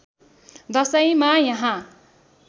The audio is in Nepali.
दशैँमा यहाँ